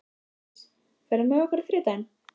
Elsí, ferð þú með okkur á þriðjudaginn?